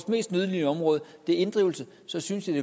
mest nødlidende område er inddrivelse så synes jeg